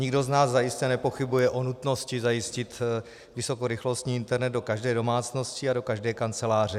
Nikdo z nás zajisté nepochybuje o nutnosti zajistit vysokorychlostní internet do každé domácnosti a do každé kanceláře.